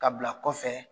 Ka bila kɔfɛ